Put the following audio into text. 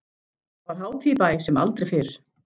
Það var hátíð í bæ sem aldrei fyrr.